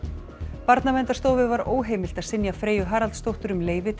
Barnaverndarstofu var óheimilt að synja Freyju Haraldsdóttur um leyfi til að